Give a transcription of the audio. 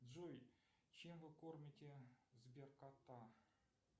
джой чем вы кормите сберкота